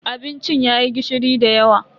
Abincin yayi gishiri dayawa.